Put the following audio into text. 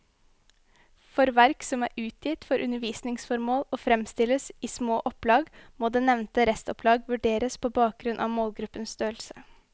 For verk som er utgitt for undervisningsformål og fremstilles i små opplag, må det nevnte restopplag vurderes på bakgrunn av målgruppens størrelse.